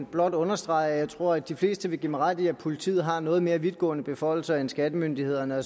blot understrege at jeg tror at de fleste vil give mig ret i at politiet har noget mere vidtgående beføjelser end skattemyndighederne og